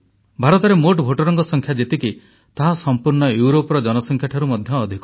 ଭାରତରେ ମୋଟ ଭୋଟରଙ୍କ ସଂଖ୍ୟା ଯେତିକି ତାହା ସମ୍ପୂର୍ଣ୍ଣ ୟୁରୋପର ଜନସଂଖ୍ୟାଠାରୁ ମଧ୍ୟ ଅଧିକ